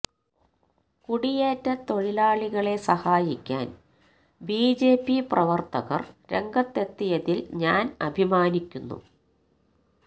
കുടിയേറ്റ തൊഴിലാളികളെ സഹായിക്കാന് ബിജെപി പ്രവര്ത്തകര് രംഗത്തെത്തിയതില് ഞാന് അഭിമാനിക്കുന്നു